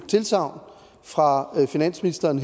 tilsagn fra finansministeren